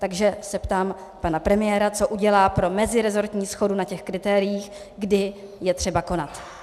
Takže se ptám pana premiéra, co udělá pro meziresortní shodu na těch kritériích, kdy je třeba konat.